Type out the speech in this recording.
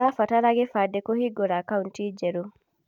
ũrabatara gĩbandĩ kũhingũra akauti njerũ.